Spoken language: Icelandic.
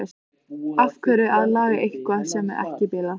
Af hverju að laga eitthvað sem er ekki bilað?